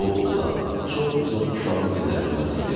O uzaq, çox uzaq uşaqlıq illərini xatırlayacaq.